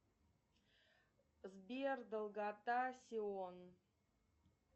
сбер долгота сион